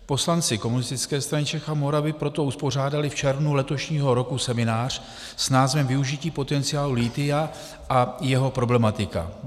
Poslanci Komunistické strany Čech a Moravy proto uspořádali v červnu letošního roku seminář s názvem využití potenciálu lithia a jeho problematika.